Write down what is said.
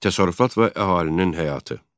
Təsərrüfat və əhalinin həyatı.